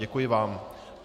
Děkuji vám.